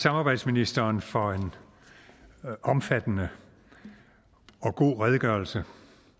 samarbejdsministeren for en omfattende og god redegørelse